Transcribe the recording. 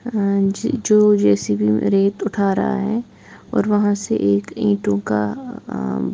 अ ज जो जैसी भी रेत उठा रहा है और वहाँ से एक ईंटों का अ--